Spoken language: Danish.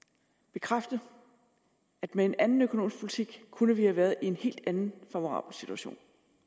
bekræfte at med en anden økonomisk politik kunne vi have været i en helt anden favorabel situation